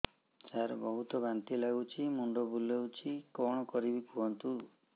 ସାର ବହୁତ ବାନ୍ତି ଲାଗୁଛି ମୁଣ୍ଡ ବୁଲୋଉଛି କଣ କରିବି କୁହନ୍ତୁ